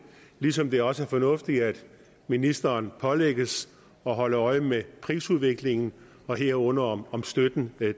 ligesom det også er fornuftigt at ministeren pålægges at holde øje med prisudviklingen herunder om om støtten er